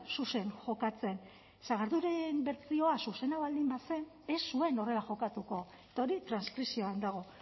zuzen jokatzen sagarduiren bertsioa zuzena baldin bazen ez zuen horrela jokatuko eta hori transkripzioan dago